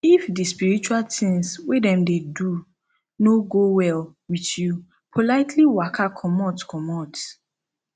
if di spiritual tins wey dem dey do no go well with youpolitely waka comot comot